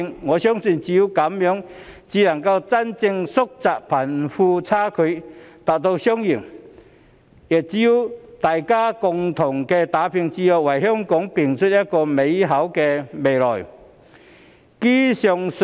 我相信只有這樣才能真正縮窄貧富差距，達致雙贏，也只有大家共同打拼，才能為香港拼出一個更美好的未來。